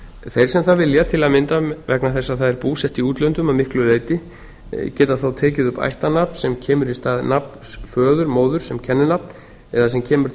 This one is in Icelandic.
þeir sem það vilja til að mynda vegna þess að það er búsett í útlöndum að miklu leyti geta þá tekið upp ættarnafn sem kemur í stað nafns föður móður sem kenninafn eða sem kemur til